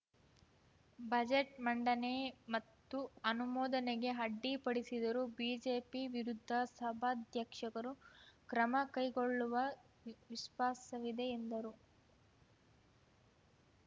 budget ಮಂಡನೆ ಮತ್ತು ಅನುಮೋದನೆಗೆ ಅಡ್ಡಿಪಡಿಸಿದರೂ ಬಿಜೆಪಿ ವಿರುದ್ಧ ಸಭಾಧ್ಯಕ್ಷಕರು ಕ್ರಮ ಕೈಗೊಳ್ಳುವ ವಿಶ್ವಾಸವಿದೆ ಎಂದರು